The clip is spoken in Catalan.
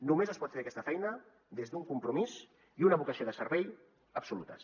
només es pot fer aquesta feina des d’un compromís i una vocació de servei absolutes